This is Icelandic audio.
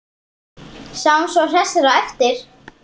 Sjáumst svo hressir á eftir.